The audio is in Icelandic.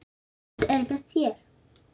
Hver stund með þér.